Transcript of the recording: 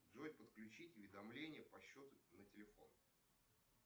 джой подключить уведомления по счету на телефон